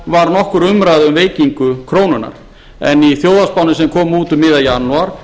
var nokkur umræða um veikingu krónunnar en í þjóðhagsspánni sem kom út um miðjan janúar